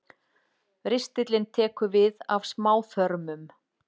Ristillinn tekur við af smáþörmum.